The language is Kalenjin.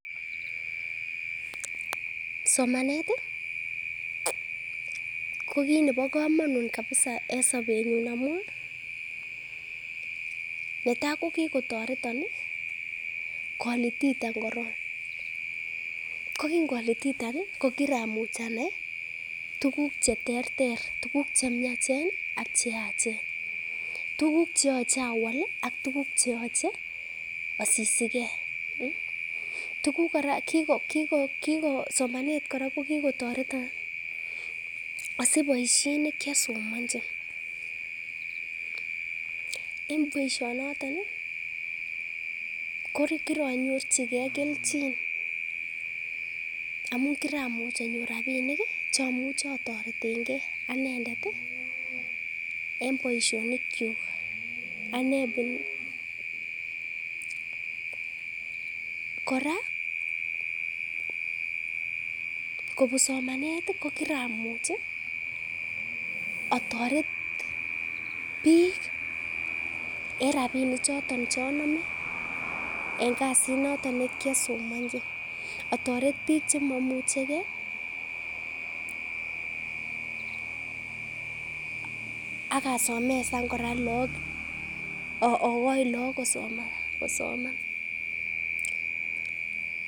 Somanet i ko kiit nebo komonut kabisa en sobenyun amun netai ko kigotoreton kolititan korong, ko kingolititan ko kiramuch anai tuguk che terter tuguk che miachen ak che yachen, tuguk che yoche awal ii ak tuguk che yoche asisiken. Somanet kora ko kigotoreton asich bosiet ne kiosomonchi, en boisionoto ko kironyorchige kelchin amun kiramuch anyor rabinik che amuche otoretenge anendet en bosionikyuk. Kora kobun somanet ko kiramuch otoret biik en rabinik choton che onome en kasit noton ne kiasomonchi, atoret biik che maimuche ge ak asomesan kora lagok ogoi lagok kosoman.